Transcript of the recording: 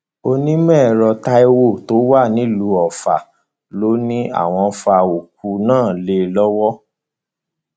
onímọẹrọ táiwo tó wà nílùú ọfà ló ní àwọn fa òkú náàlé lọwọ